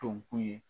To k'u ye